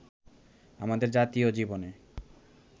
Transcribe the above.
আমাদের জাতীয় জীবনে